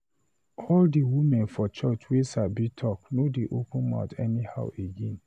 All the Women for church wey Sabi talk no dey open mouth anyhow again